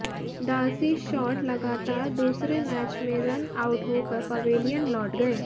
Darcy Short लगातार दूसरे match में रन आउट होकर पवेलियन लौट गए